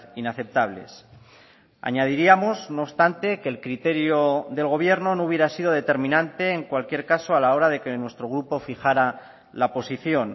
inaceptables añadiríamos no obstante que el criterio del gobierno no hubiera sido determinante en cualquier caso a la hora de que nuestro grupo fijara la posición